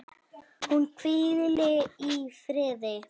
Hún hvíli í friði.